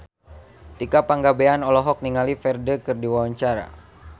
Tika Pangabean olohok ningali Ferdge keur diwawancara